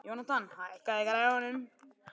Jónatan, hækkaðu í græjunum.